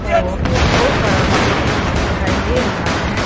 ओ बहुत सारा पानी दिखाई दे रहा हैं।